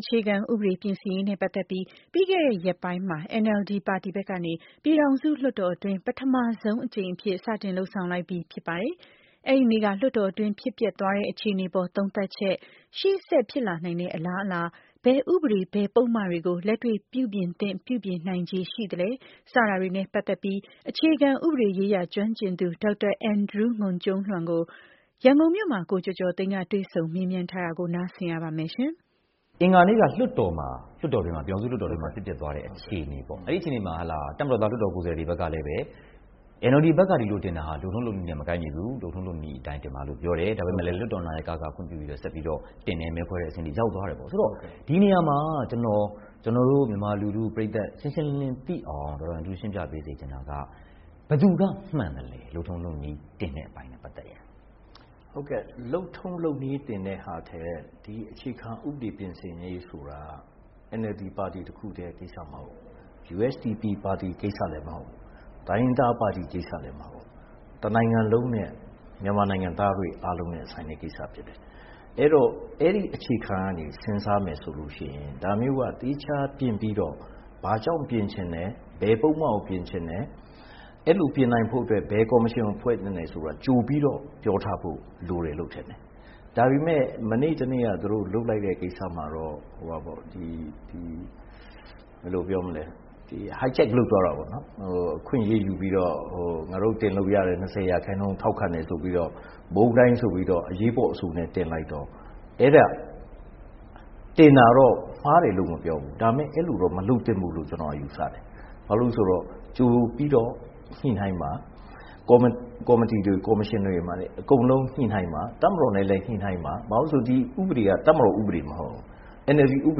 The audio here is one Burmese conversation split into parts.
အခြေခံဥပဒေ ပြင်ဆင်ရေးနဲ့ပတ်သက်ပြီး ပြီးခဲ့တဲ့ရက်ပိုင်းမှာ NLD ပါတီဘက်ကနေ ပြည်ထောင်စု လွှတ်တော်တွင်း ပထမဆုံးအကြိမ်အဖြစ် စတင်လုပ်ဆောင်လိုက်ပြီဖြစ်ပါတယ်။ အဲဒီနေ့က လွှတ်တော်တွင်း ဖြစ်ပျက်သွားတဲ့ အခြေအနေအပေါ် သုံးသပ်ချက်၊ ရှေ့ဆက်ဖြစ်လာနိုင်တဲ့အလားအလာ၊ ဘယ်ဥပဒေ ဘယ်ပုဒ်မတွေကို လက်တွေ့ပြုပြင်သင့် ပြုပြင်နိုင်ခြေရှိသလဲ စတာတွေနဲ့ပတ်သက်ပြီး အခြေခံဥပဒေရေးရာကျွမ်းကျင်သူ ဒေါက်တာ အန်ဒရူး ငွန်ကျူံးလျန်ကို ရန်ကုန်မြို့ မှာ ကိုကျော်ကျော်သိန်းက တွေ့ဆုံမေးမြန်းထားပါတယ်။ ကိုကျော်ကျော်သိန်း။ ။ အင်္ဂါနေ့က ပြည်ထောင်စုလွှတ်တော်မှာ ဖြစ်သွားတဲ့အခြေအနေပေ့ါ အဲဒီမှာ တပ်မတော်သားလွှတ်တော်ကိုယ်စားလှယ်တွေဘက်ကလည်း NLD ဘက်က ဒီလိုတင်တာဟာ လုပ်ထုံးလုပ်နည်းနဲ့ မကိုက်ညီဘူး။လုပ်ထုံးလုပ်နည်းအတိုင်းတင်ပါလို့ ပြောတယ်။ ဒါပေမယ့် လွှတ်ာတော် နာယက ဆက်ပြီးတော့ ခွင့်ပြုတယ် မဲခွဲတဲ့အဆင့်တွေရောက်သွားတယ် ။ ဆိုတော့ ဒီနေရာမှာ ကျနော်တို့ မြန်မာလူထုပရိတ်သတ် ရှင်းရှင်းလင်းလင်းသိအောင် ရှင်းပြပေးစေချင်တာက ဘယ်သူကမှန်သလဲ လုပ်ထုံးလုပ်နည်းတင်တဲ့အပိုင်းနဲ့ ပတ်သက်ရင်။ ဒေါက်တာ အန်ဒရူး ငွန်ကျူံးလျန်။ ။ လုပ်ထုံးလုပ်နည်းတင်တဲ့ဟာထက် ဒီအခြေခံဥပဒေ ပြင်ဆင်ရေးဆိုတာက NLD ပါတီ တခုတည်းကိစ္စမဟုတ်ဘူး။ USDP ပါတီ ကိစ္စလည်းမဟုတ်ဘူး။ တိုင်းရင်းသားပါတီ ကိစ္စလည်းမဟုတ်ဘူး။ တနိုင်ငံလုံးနဲ့ မြန်မာနိုင်ငံသားတွေအားလုံးနဲ့ ဆိုင်တဲ့ ကိစ္စဖြစ်တယ်။ အဲဒီတော့ အဲဒီအခြေခံကနေ စဉ်းစားမယ်ဆိုရင် ဒါမျိုးက သီးခြားတင်ပြီးတော့ ဘာကြောင့်ပြင်ချင်တယ်။ ဘယ်ပုဒ်မကို ပြင်ချင်တယ် အဲလိုပြင်နိုင်ဖို့အတွက် ဘယ်ကော်မရှင်ကိုဖွဲ့သင့်တယ်ဆိုတာက ကြိုပြီးတော့ ပြောထားဖို့လိုတယ်လို့ ထင်တယ်။ ဒါပေမယ့် မနေ့ တနေ့က သူတို့ လုပ်လိုက်တဲ့ ကိစ္စမှာတော့ hijack လုပ်သွားတာပေါ့နော် အခွင့်အရေးယူပြီးတော့ ငါတို့ တင်လို့ရတဲ့ ၂၀ ရာခိုင်နှုန်း ထောက်ခံတယ်ဆိုပြီးတော့ ဗြန်းတိုင်းအဆိုနဲ့ အရေးပေါ်တင်လိုက်တော့ တင်တာတော့ မှားတယ်လို့မပြောဘူး ဒါပေမယ့် အဲလိုမလုပ်သင့်ဘူးလို့တော့ ကျနော်ယူဆတယ်။ ဘာဖြစ်လို့လဲဆိုတော့ ကြိုပြီးတော့ ညှိနှိုင်းပါ ၊ ကော်မတီတွေ ကော်မရှင်တွေမှာလည်း အကုန်လုံး ညှိနှိုင်းပါ။ တပ်မတော်နဲ့လည်း ညှိနှိုင်းပါ။ ဘာဖြစ်လို့လဲဆိုတော့ ဒီဥပဒေက တပ်မတော်ဥပဒေမဟုတ်ဘူး။ NLD ဥပ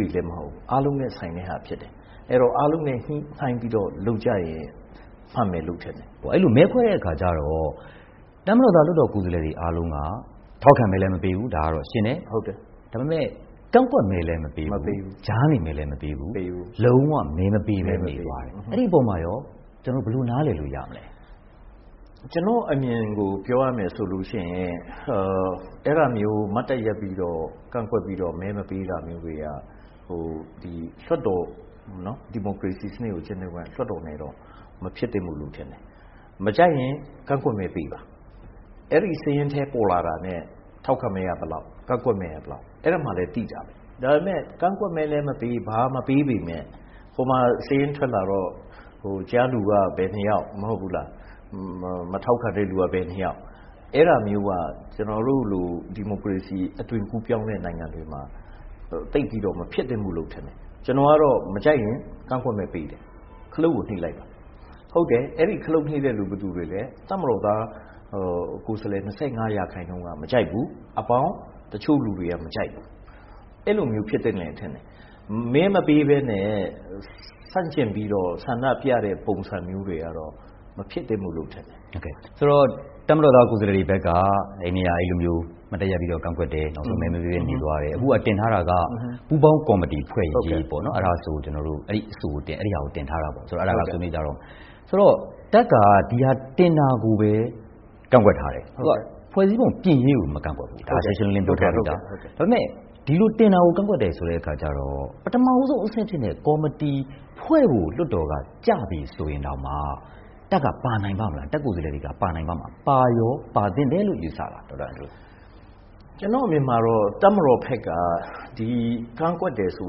ဒေလည်းမဟုတ်ဘူး အားလုံးနဲ့ ဆိုင်တဲ့ဟာဖြစ်တယ်။ အဲဒီတော့ အားလုံးနဲ့ ညှိနှိုင်းပြီးတော့ လုပ်ရင် မှန်မယ်လို့ထင်တယ်။ ကိုကျော်ကျော်သိန်း။ ။အဲဒီတော့ မဲခွဲတဲ့အခါကျတော့ တပ်မတော်သားလွှတ်တော်ကိုယ်စားလှယ်တွေအားလုံးက ထောက်ခံမဲလည်းမပေးဘူး ဒါကတော့ရှင်းတယ် ဒါပေမယ့် ကန့်ကွက်မဲလည်းမပေးဘူး။ ကြားနေ မဲလည်းမပေးဘူး။ လုံး၀ မဲမပေးပဲနေသွားတယ်။ အဲဒီအပေါ်မှာရော ကျနော်တို့ ဘယ်လိုနားလည်လို့ရမလဲ။ ဒေါက်တာ အန်ဒရူး ငွန်ကျူံးလျန်။ ။ ကျနော့်အမြင်ကို ပြောရမယ်ဆိုရင် အဲဒါမျိုး မတ်တပ်ရပ်ပြီးတော့ ကန့်ကွက်ပြီးတော့ မဲမပေးတာမျိုးတွေက ဒီမိုကရေစီစနစ်ကို ကျင့်သုံးတဲ့ လွှတ်တော်နဲ့တော့ မဖြစ်သင့်ဘူးလို့တော့ထင်တယ် မကြိုက်ရင် ကန့်ကွက်မဲပေးပါ။ အဲဒီစရင်းထဲပေါ်လာတာနဲ့ ထောက်ခံမဲက ဘယ်လောက် ၊ ကန့်ကွက်မဲက ဘယ်လောက် အဲဒီမှာလည်းသိတာပဲ ဒါပေမယ့် ကန့်ကွက်မဲလည်းမပေး ဘာမှ မပေးပေမယ့် ဟိုမှာစာရင်းထွက်လာတော့ ကြားလူက ဘယ် နှစ်ယောက် ၊ မထောက်ခံတဲ့လူက ဘယ်နှစ်ယောက် အဲလိုမျိုးက ကျနော်တို့လို ဒီမိုကရေစီအသွင်ကူးပြောင်းတဲ့ နိုင်ငံတွေမှာ သိပ်ပြီးတော့ မဖြစ်သင့်ဘူးလို့ထင်တယ်။ ကျနော်ကတော့ မကြိုက်ရင် ကန့်ကွက်မဲပေးတယ်၊ ခလုတ်ကို နိတ်လိုက်ပါ။ ဟုတ်တယ် အဲဒီ ခလုတ်နိတ်တာ ဘယ်သူတွေလဲ တပ်မတော်သား ကိုယ်စားလှယ် ၂၅ ရာခိုင်နှုန်းက မကြိုက်ဘူး အဲဒါပေါင်း၊ နောက်ပြီး တချို့လူတွေ မကြိုက်ဘူး အဲလိုမျိုးဖြစ်သင့်တယ်လို့ထင်တယ်။ မဲမပေးပဲနဲ့ ဆန့်ကျင်ပြီးတော့ ဆန္ဒပြတဲ့ ပုံစံမျိုးတွေကတော့ မဖြစ်သင့်ဘူးလို့ ထင်တယ်။ ကိုကျော်ကျော်သိန်း။ ။ ဆိုတော့ တပ်မတော်သား ကိုယ်စားလှယ်တွေဘက်က အဲဒီနေ့က အဲလိုမျိုး မတ်တပ်ရပ်ပြီးကန့်ကွက်တယ် နောက်ဆုံးမဲမပေးပဲ နေသွားတယ်။ အခုက တင်ထားတာက ပူးပေါင်းကော်မတီဖွဲ့ ရေးပေါ့နော် အဲဒီအဆိုကို တင်ထားတာပေါ့နော်။ ဒီအဆိုကို ဆွေးနွေးကြတော့မယ်။ ဆိုတော့ တပ်က ဒီဟာတင်တာကိုပဲ ကန့်ကွက်ထားတယ်။ ဖွဲ့စည်းပုံပြင်ရေးကို မကန့်ကွက်ဘူး။ ဒါ ရှင်းရှင်းလင်းလင်းပြောထားပြီးသား။ ဒါပေမယ့် ဒီလိုတင်တာကို ကန့်ကွက်တယ်ဆိုတဲ့အခါကျတော့ ပထမဦးဆုံးအဆင့်ဖြစ်တဲ့ ကော်မတီဖွဲ့ဖို့ လွှတ်တော်က ကျပြီးဆိုရင်တောင် တပ်ကိုယ်စားလှယ်တွေပါနိုင်ပါ့မလား၊ ပါရော ပါသင့်တယ်လို့ ယူဆပါသလား။ ဒေါက်တာ အန်ဒရူး ငွန်ကျူံးလျန်။ ။ ကျနော့်အမြင်မှာတော့ တပ်မတော်ဘက်က ကန့်ကွက်တယ်ဆို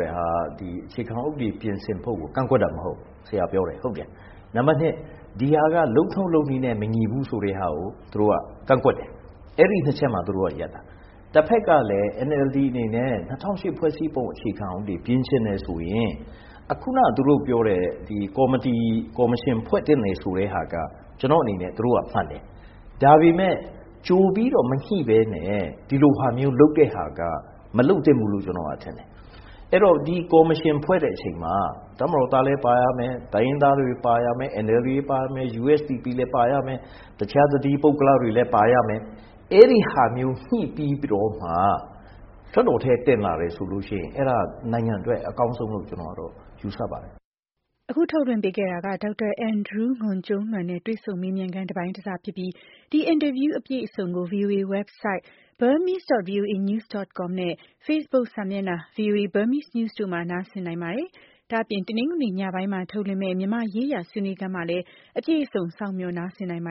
တာက အခြေခံဥပဒေ ပြင်ဆင်ဖို့ကို ကန့်ကွက်တာမဟုတ်ဘူး။ နံပတ် ၂ ဒီဟာက လုပ်ထုံးလုပ်နည်းနဲ့ မညီဘူးဆိုတာကို သူတို့က ကန့်ကွက်တယ်။ အဲဒီ ၂ ချက်မှာ သူတို့က ရပ်တာ တဖက်ကလည်း NLD အနေနဲ့ ၂၀၀၈ ဖွဲ့စည်းပုံ အခြေခံဥပဒေပြင်ချင်တယ်ဆိုရင် ခုနသူတို့ပြောတဲ့ ကော်မတီ ကော်မရှင်ဖွဲ့သင့်တယ်ဆိုတာက ကျနော့်အနေနဲ့ သူတို့က မှန်တယ်။ ဒါပေမယ့် ကြိုပြီးတော့ မညှိပဲနဲ့ ဒီလိုဟာမျိုးလုပ်တာက မလုပ်သင့်ဘူးလို့ ကျနော်ထင်တယ်။ အဲဒီတော့ ဒီကော်မရှင်ဖွဲ့တဲ့အချိန်မှာ တပ်မတော်သားလည်းပါရမယ်၊ တိုင်းရင်းသားတွေ ပါရမယ် NLD တွေပါမယ်။ USDP လည်းပါရမယ် တခြားတသီး ပုဂ္ဂလတွေလည်း ပါရမယ်။ အဲဒါမျိုး ညှိပြီးတော့မှ လွှတ်တော်ထဲ တင်လာတယ်ဆိုရင် အဲဒါနိုင်ငံအတွက်အကောင်းဆုံးလို့ ယူဆပါတယ်။ အဲဒါကတော့ ဒေါက်တာ အန်ဒရူး ငွန်ကျူံးလျန်နဲ့ တွေ့ဆုံမေးမြန်းခန်း တပိုင်းတစဖြစ်ပြီး ဒီအင်တာဗျူး အပြည့်အစုံကို ဗွီအိုအေရဲ့ တနင်္ဂနွေနေ့ညပိုင်းမှာ ထုတ်လွှင့်မယ့် မြန်မာ့ရေးရာဆွေးနွေးခန်းမှာလည်း အပြည့်အစုံ စောင့်မျှော် နားဆင်နိုင်ပါ